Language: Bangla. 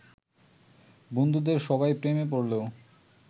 বন্ধুদের সবাই প্রেমে পড়লেও